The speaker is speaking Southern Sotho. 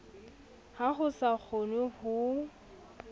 ha ho sa kgonwe ho